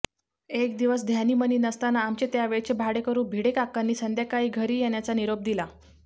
एक दिवस ध्यानीमनी नसताना आमचे त्यावेळचे भाडेकरू भिडेकाकांनी संध्याकाळी घरी येण्याचा निरोप दिला